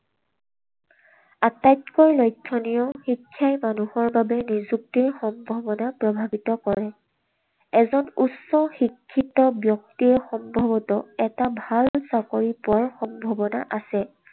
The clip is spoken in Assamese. আটাইতকৈ লক্ষণীয় শিক্ষাই মানুহৰ বাবে নিযুক্তিৰ সম্ভাৱনা প্ৰভাৱিত কৰে। এজন উচ্চ শিক্ষিত ব্যক্তিয়ে সম্ভৱতঃ এটা ভাল চাকৰি পোৱাৰ সম্ভাৱনা আছে।